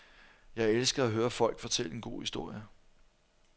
Jeg elsker at høre folk fortælle en god historie.